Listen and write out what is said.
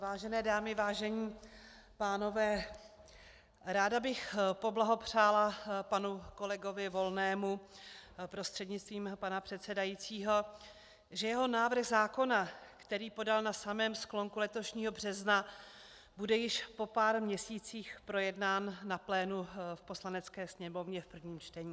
Vážené dámy, vážení pánové, ráda bych poblahopřála panu kolegovi Volnému prostřednictvím pana předsedajícího, že jeho návrh zákona, který podal na samém sklonku letošního března, bude již po pár měsících projednán na plénu v Poslanecké sněmovně v prvním čtení.